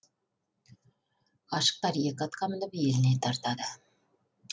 ғашықтар екі атқа мініп еліне тартады